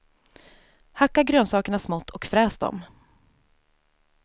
Hacka grönsakerna smått och fräs dem.